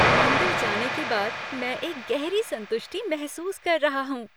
मंदिर जाने के बाद मैं एक गहरी संतुष्टि महसूस कर रहा हूं।